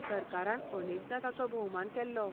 सरकारान अनेकदां ताचो भोवमान केल्लो.